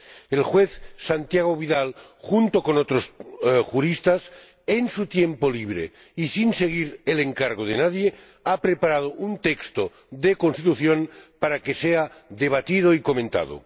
El juez Santiago Vidal, junto con otros juristas, en su tiempo libre y sin seguir el encargo de nadie, ha preparado un texto de Constitución para que sea debatido y comentado.